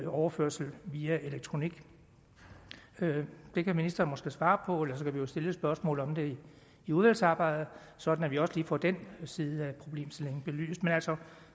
overførsel via elektronik det kan ministeren måske svare på ellers kan vi jo stille et spørgsmål om det i udvalgsarbejdet sådan at vi også lige får den side af problemstillingen belyst altså